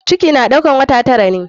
Ciki na ɗaukar wata tara ne.